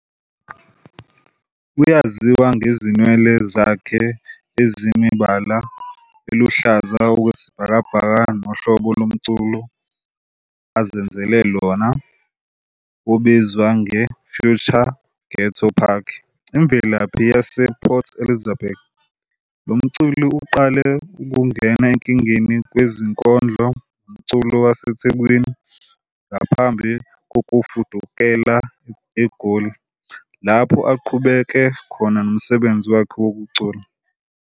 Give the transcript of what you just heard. Uyaziwa ngezinwele zakhe ezinemibala eluhlaza okwesibhakabhaka nohlobo lomculo azenzele lona obizwa nge- "future ghetto punk". Imvelaphi yasePort Elizabeth, lo mculi uqale ngokungena enkingeni kwezinkondlo nomculo waseThekwini ngaphambi kokufudukela eGoli, lapho eqhubeke khona nomsebenzi wakhe wokucula.